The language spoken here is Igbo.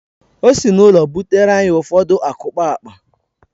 O si n’ụlọ butere anyị ụfọdụ akukpaakpa